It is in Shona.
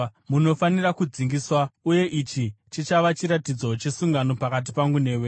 Munofanira kudzingiswa, uye ichi chichava chiratidzo chesungano pakati pangu newe.